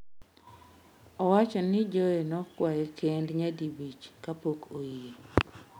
Owacho ni Joe nokwaye kend nyadi abich kapok oyie.